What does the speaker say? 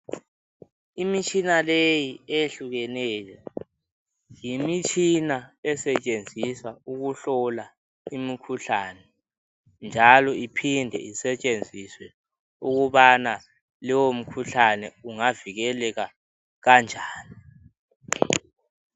Imitshina leyi eyehlukeneyo yimitshina esetshenziswa ukuhlola imikhuhlane. Njalo iphinde isetshenziswa ukubana lowomkhuhlane ungavikeleka kanjani.